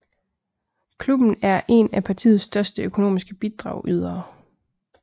Klubben er en af partiets største økonomiske bidragydere